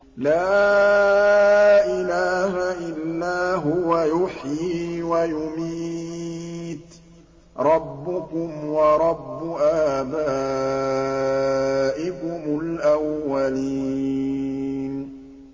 لَا إِلَٰهَ إِلَّا هُوَ يُحْيِي وَيُمِيتُ ۖ رَبُّكُمْ وَرَبُّ آبَائِكُمُ الْأَوَّلِينَ